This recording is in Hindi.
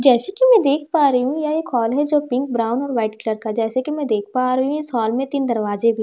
जैसा कि मैं देख पा रही हूँ यह एक हॉल है जो पिंक ब्राउन और वाइट कलर का है जैसे कि मैं देख पा रही हूँ इस हॉल में तीन दरवाजे भी --